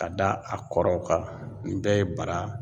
Ka da a kɔrɔw kan nin bɛɛ ye bara